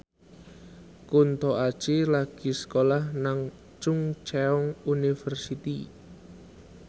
Kunto Aji lagi sekolah nang Chungceong University